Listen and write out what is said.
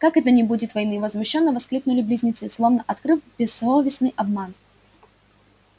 как это не будет войны возмущённо воскликнули близнецы словно открыв бессовестный обман